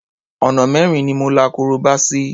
Ọ̀nà mẹ́rin ni mo la korobá sí.